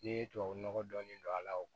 N'i ye tubabu nɔgɔ dɔɔnin don a la